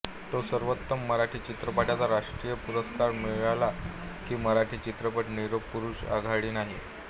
तो सर्वोत्तम मराठी चित्रपटाचा राष्ट्रीय पुरस्कार मिळाला की मराठी चित्रपट निरोप पुरुष आघाडी नाही